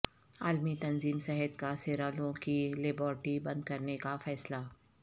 عالمی تنظیم صحت کا سیرالون کی لیباریٹری بند کرنے کا فیصلہ